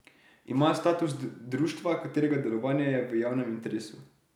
Ima status društva, katerega delovanje je v javnem interesu.